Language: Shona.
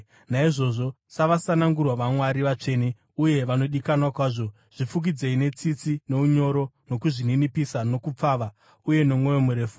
Naizvozvo savasanangurwa vaMwari, vatsvene uye vanodikanwa kwazvo, zvifukidzei netsitsi, nounyoro, nokuzvininipisa, nokupfava uye nomwoyo murefu.